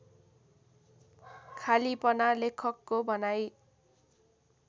खालिपना लेखकको भनाइ